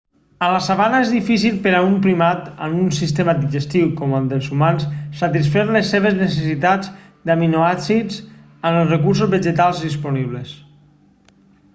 a la sabana és difícil per a un primat amb un sistema digestiu com el dels humans satisfer les seves necessitats d'aminoàcids amb els recursos vegetals disponibles